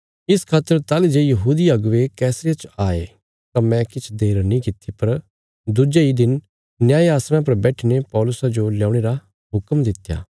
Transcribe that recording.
इस खातर ताहली जे यहूदी अगुवे कैसरिया च आये तां मैं किछ देर नीं किति पर दुज्जे इ दिन न्याय आसणा पर बैठीने पौलुसा जो ल्यौणे रा हुक्म दित्या